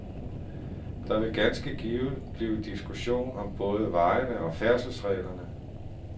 Der vil ganske givet blive diskussion om både vejene og færdselsreglerne.